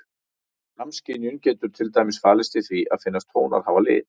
Samskynjun getur til dæmis falist í því að finnast tónar hafa lit.